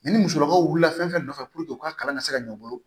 Ni musolakaw wulila fɛn fɛn nɔfɛ u ka kalan ka se ka ɲɔ u bolo